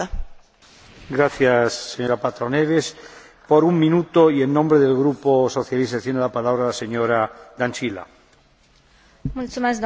În primul rând, felicitări raportorului pentru obiectivele menționate în cadrul agriculturii din regiunile ultraperiferice.